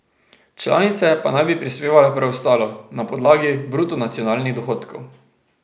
Članice pa naj bi prispevale preostalo, na podlagi bruto nacionalnih dohodkov.